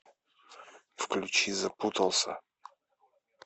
включи запутался